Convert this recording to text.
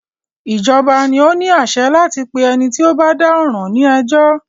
Ìjọba ni o ní àṣẹ láti pé ẹni tí o bá dá ọ̀ràn ní ẹjọ́.